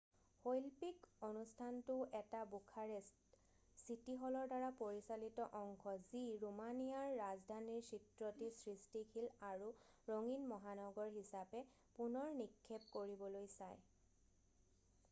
শৈল্পিক অনুষ্ঠানটোও এটা বুখাৰেষ্ট চিটি হলৰ দ্বাৰা পৰিচালিত অংশ যি ৰোমানিয়াৰ ৰাজধানীৰ চিত্ৰটি সৃষ্টিশীল আৰু ৰঙীন মহানগৰ হিচাবে পুনৰ নিক্ষেপ কৰিবলৈ চায়